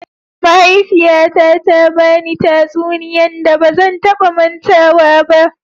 Mahaifiyyata ta ba ni tatsuniyan da ba zan ta ba matawa ba.